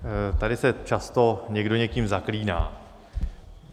Tady se často někdo někým zaklíná.